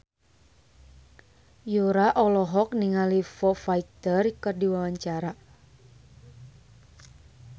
Yura olohok ningali Foo Fighter keur diwawancara